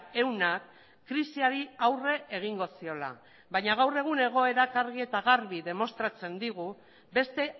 ehuna krisiari aurre egingo ziola baina gaur egun egoerak argi eta garbi demostratzen digu beste